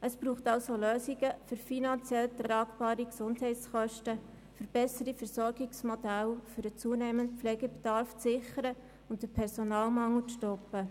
Es braucht somit Lösungen für finanziell tragbare Gesundheitskosten und für bessere Versorgungsmodelle, um den zunehmenden Pflegebedarf zu sichern und den Personalmangel zu stoppen.